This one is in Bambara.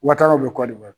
Wa taagaw bɛ kɔ de la